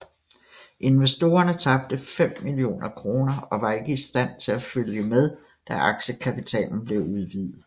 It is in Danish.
Investorerne tabte 5 millioner kroner og var ikke i stand til at følge med da aktiekapitalen blev udvidet